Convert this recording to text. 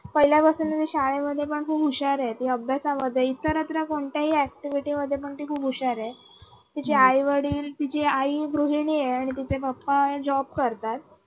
पहिल्यापासून ती शाळेमध्ये पण खूप हुशार हुशार आहे ती अभ्यासामध्येही इतरत्र कोणत्याही activity मध्ये ती खूप हुशार आहे तिच आई-वडील तिची आई गृहिणी आहे आणि तिचे papajob करतात.